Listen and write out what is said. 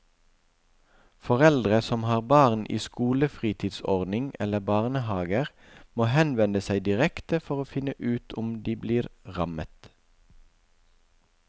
Foreldre som har barn i skolefritidsordning eller barnehaver må henvende seg direkte for å finne ut om de blir rammet.